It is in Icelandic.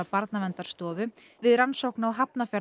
Barnaverndarstofu við rannsókn á